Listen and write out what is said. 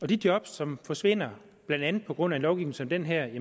de job som forsvinder blandt andet på grund af en lovgivning som den her